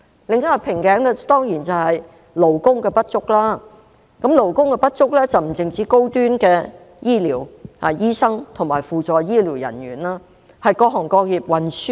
另一個瓶頸是勞工不足，勞工不足不只限於高端醫療人員，例如醫生和扶助醫療人員，而是各行各業均如是。